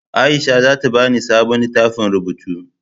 Aisha zata bani sabon littafin rubutu